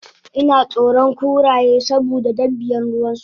inatsoron kuraye saboda dabian ruwansu